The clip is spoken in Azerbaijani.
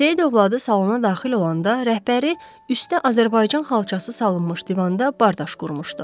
Seyid övladı salona daxil olanda rəhbəri üstdə Azərbaycan xalçası salınmış divanda bardaş qurmuşdu.